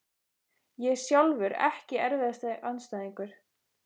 Ég sjálfur EKKI erfiðasti andstæðingur?